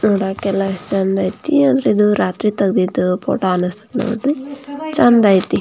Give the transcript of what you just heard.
ನೋಡಕ್ಕೆ ಎಲ್ಲ ಎಷ್ಟು ಚಂದ್ ಐತೆ ಆದ್ರೆ ಇದು ರಾತ್ರಿ ತೆಗ್ದಿದ್ದು ಫೋಟೋ ಅನಸ್ತಸ್ಥೆ ನೋಡ್ರಿ ಚಂದ್ ಐತೆ--